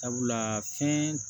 Sabula fɛn